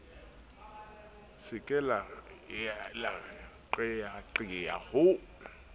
se ke la qeyaqeya ho